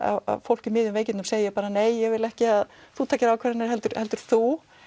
fólk í miðjum veikindum segir bara nei ég vil ekki að þú takir ákvarðanir heldur heldur þú